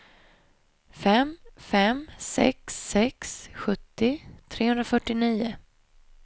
fem fem sex sex sjuttio trehundrafyrtionio